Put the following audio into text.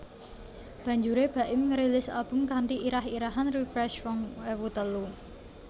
Banjuré Baim ngrilis album kanthi irah irahan Refresh rong ewu telu